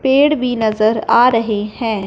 पेड़ भी नजर आ रहे हैं।